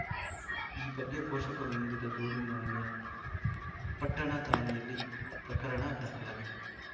ಈ ಬಗ್ಗೆ ಪೋಷಕರು ನೀಡಿದ ದೂರಿನನ್ವಯ ಪಟ್ಟಣ ಠಾಣೆಯಲ್ಲಿ ಪ್ರಕರಣ ದಾಖಲಾಗಿದೆ